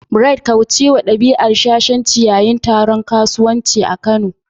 Bright', kaucewa dabi'ar shashanci yayin taron kasuwanci a Kano.